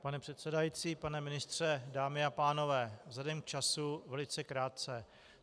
Pane předsedající, pane ministře, dámy a pánové, vzhledem k času velice krátce.